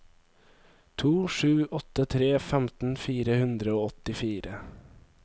to sju åtte tre femten fire hundre og åttifire